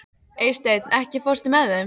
Eysteinn, ekki fórstu með þeim?